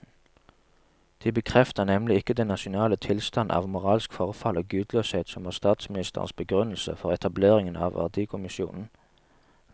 De bekrefter nemlig ikke den nasjonale tilstand av moralsk forfall og gudløshet som var statsministerens begrunnelse for etableringen av verdikommisjonen.